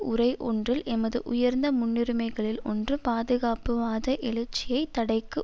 உரை ஒன்றில் எமது உயர்ந்த முன்னுரிமைகளில் ஒன்று பாதுகாப்புவாத எழுச்சியைத் தடைக்கு